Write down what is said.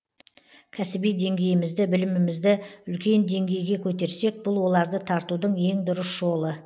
кәсіби деңгейімізді білімімізді үлкен деңгейге көтерсек бұл оларды тартудың ең дұрыс жолы